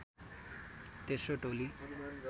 तेस्रो टोली